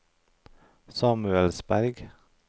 Samuelsberg